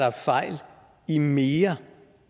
er fejl i mere